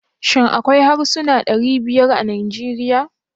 Shin akwai harsuna ɗari biyar a Najeriya?